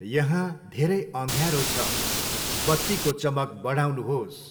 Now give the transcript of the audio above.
यहाँ धेरै अँध्यारो छ, बत्तीको चमक बढाउनुहोस्।